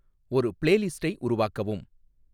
ஒரு பிளேலிஸ்ட்டை உருவாக்கவும்